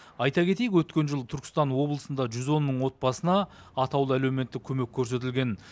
айта кетейік өткен жылы түркістан облысында жүз он мың отбасына атаулы әлеуметтік көмек көрсетілген